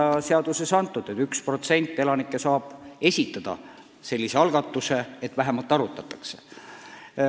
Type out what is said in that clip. Praegu on seaduses sätestatud, et vähemalt 1% elanikke saab teha sellise algatuse ja seda peab vähemalt arutama.